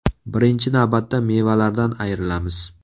Birinchi navbatda mevalardan ayrilamiz.